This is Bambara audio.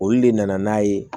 Olu de nana n'a ye